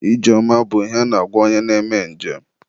ije ọma bụ ihe a na-agwa onye na-eme nje m.